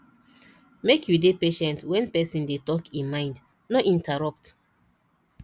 make you dey patient when person dey talk e mind no interrupt